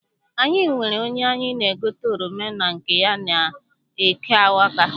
Anyị nwere onye anyị na-egote oroma na nke ya n'eke Awka.